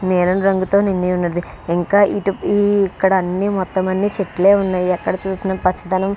నీలం రంగు తో నిండి వున్నది ఇంకా ఇటు ఈ ఇక్కడ అన్నీ మొత్తం అన్నీ చెట్లే వున్నాయ్ ఎక్కడ చూసిన పచ్చదనం --